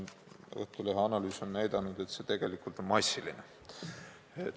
Õhtulehe analüüs on aga näidanud, et see on tegelikult massiline.